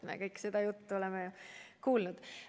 Me seda juttu oleme kõik kuulnud.